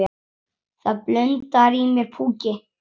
Það blundar í mér púki.